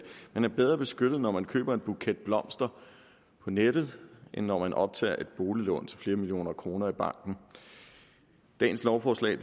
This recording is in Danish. man er bedre beskyttet når man køber en buket blomster på nettet end når man optager et boliglån til flere millioner kroner i banken dagens lovforslag